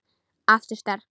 Aftur sterk.